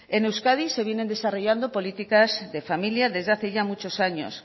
en euskadi se vienen desarrollando políticas de familia desde hace ya muchos años